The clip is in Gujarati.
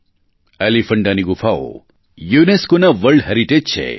એલીફૅન્ટાની ગુફાઓ UNESCOના વર્લ્ડ હેરિટેજ છે